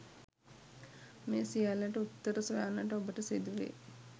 මේ සියල්ලට උත්තර සොයන්නට ඔබට සිදුවේ